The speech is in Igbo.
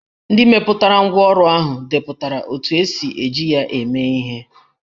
Ndị mepụtara ngwá ọrụ ahụ depụtara otú e si eji ya eme ihe